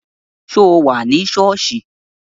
Ṣé o wà ní sọ́ọ̀sì?